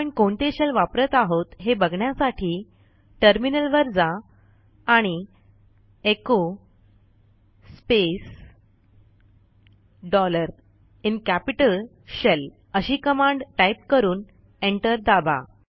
आपण कोणते Shellवापरत आहोत हे बघण्यासाठी टर्मिनल वर जा आणि echo space dollar in capital shell अशी कमांड टाईप करून एंटर दाबा